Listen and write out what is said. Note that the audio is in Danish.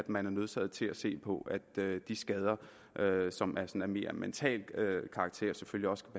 man er nødsaget til at se på at de skader som altså af mere mental karakter selvfølgelig også